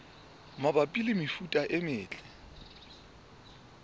mabapi le mefuta e metle